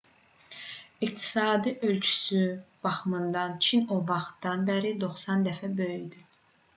i̇qtisadi ölçüsü baxımından çin o vaxtdan bəri 90 dəfə böyüdü